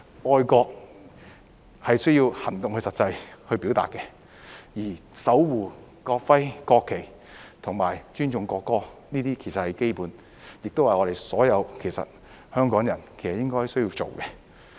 愛國是需要行動去實際表達的，而守護國徽、國旗及尊重國歌，這些其實是基本的，亦是我們所有香港人應當做的。